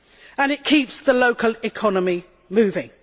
and it keeps the local economy moving.